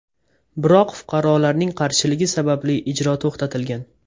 Biroq fuqarolarning qarshiligi sabali ijro to‘xtatilgan.